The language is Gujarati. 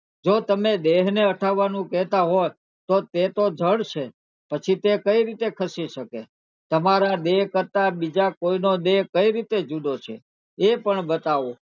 જો તમે દેહ ને હટાવાનું કહેતા હોય તો તે તો જડ છે તે કઈ રીટા ખસી શકે તમારા દેહ કરતા બીજા નો દેહ કઈ રીતે જુદો છે એ પણ બતાવો